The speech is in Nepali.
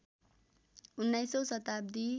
१९औँ शताब्दी